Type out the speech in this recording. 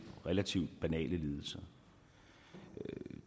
relativt banale lidelser